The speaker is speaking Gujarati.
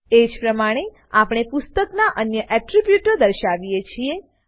એજ પ્રમાણે આપણે પુસ્તકનાં અન્ય એટ્રીબ્યુટો દર્શાવીએ છીએ